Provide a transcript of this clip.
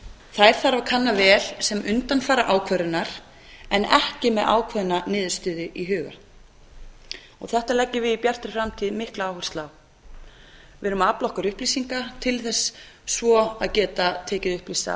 þær þarf að kanna vel sem undanfara ákvörðunar en ekki með ákveðna niðurstöðu í huga þetta leggjum við í bjartri framtíð mikla áherslu á við erum að afla okkur upplýsinga til þess svo að geta tekið upplýsta